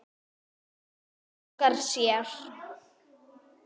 Óskar sér.